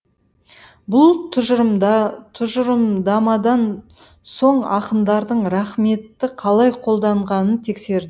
бұл тұжырымдамадан соң ақындардың рақметті қалай қолданғанын тексер